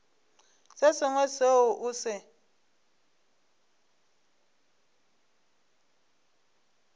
se sengwe seo o se